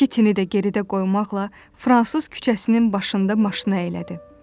İki tini də geridə qoymaqla Fransız küçəsinin başında maşını əylədi.